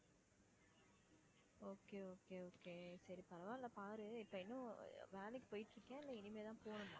okay okay okay சரி பரவாயில்ல பாரு. இப்போ ஏதும் வேலைக்கு போயிட்டு இருக்கியா? இல்ல இனிமே தான் போகணுமா?